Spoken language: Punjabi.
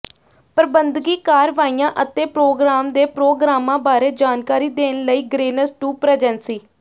ਪ੍ਰਬੰਧਕੀ ਕਾਰਵਾਈਆਂ ਅਤੇ ਪ੍ਰੋਗ੍ਰਾਮ ਦੇ ਪ੍ਰੋਗਰਾਮਾਂ ਬਾਰੇ ਜਾਣਕਾਰੀ ਦੇਣ ਲਈ ਗਰੇਨਸ ਟੂ ਪ੍ਰੈਜੈਂਸੀ